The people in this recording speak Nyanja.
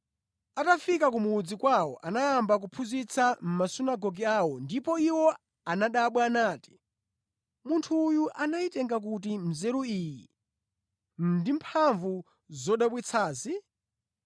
Atafika ku mudzi kwawo anayamba kuphunzitsa mʼmasunagoge awo ndipo iwo anadabwa nati, “Munthu uyu anayitenga kuti nzeru iyi ndi mphamvu zodabwitsazi?